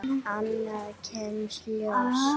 Annað kemur ljós